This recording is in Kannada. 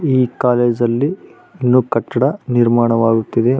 ಈ ಕಾಲೇಜು ಅಲ್ಲಿ ನ್ಯೂ ಕಟ್ಟಡ ನಿರ್ಮಾಣವಾಗುತ್ತಿದೆ.